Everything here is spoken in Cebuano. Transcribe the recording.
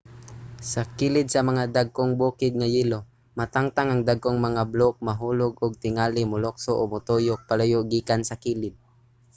sa kilid sa mga mga dagkong bukid nga yelo matangtang ang dagkong mga bloke mahulog ug tingali molukso o motuyok palayo gikan sa kilid